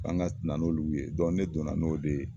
An ka na ni olu ye ne don na n'o de ye.